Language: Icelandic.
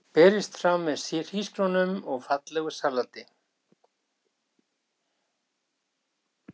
Berist fram með hrísgrjónum og fallegu salati.